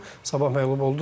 Sabah məğlub oldu.